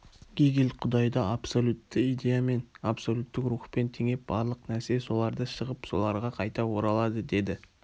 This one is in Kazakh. гегель құдайды абсолюттік идеямен абсолюттік рухпен теңеп барлық нәрсе соларды-шығып соларға қайта оралады деді